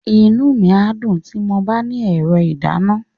Inú mi á dùn tí mo bá ní ẹ̀rọ ìdáná.